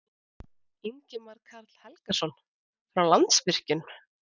Ingimar Karl Helgason: Frá Landsvirkjun?